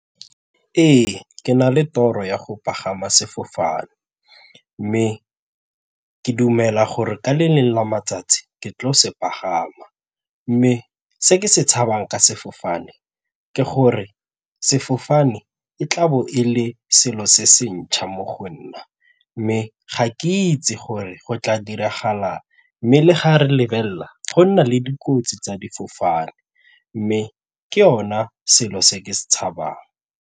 Ee, ke na le toropo ya go pagama sefofane mme ke dumela gore ka le lengwe la matsatsi ke tle go se pagama mme se ke se tshabang ka sefofane ke gore sefofane e tlabo e le selo se se ntšha mo go nna mme ga ke itse gore go tla diragala eng mme le ga re lebelela go nna le dikotsi tsa difofane mme ke yona selo se ke se tshabang.